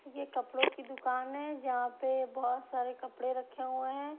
ये कपड़ों की दुकान है जहां पे बहुत सारे कपड़े रखे हुए हैं ।